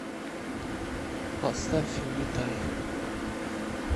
поставь улетай